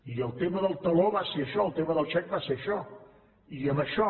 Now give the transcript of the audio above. i el tema del taló va ser això el tema del xec va ser això i amb això